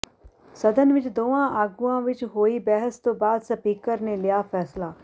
ਸਦਨ ਵਿਚ ਦੋਵਾਂ ਆਗੂਆਂ ਵਿਚ ਹੋਈ ਬਹਿਸ ਤੋਂ ਬਾਅਦ ਸਪੀਕਰ ਨੇ ਲਿਆ ਫੈਸਲਾ